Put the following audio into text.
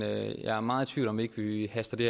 jeg er meget i tvivl om om ikke vi haster det